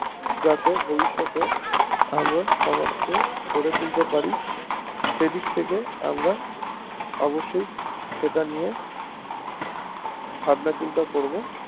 যাতে ভবিষ্যতে সমাজ কে গড়ে তুলতে পারি সেই দিক থেকে আমার অবশ্যই সেটা নিয়ে ভাবনা চিন্তা করবো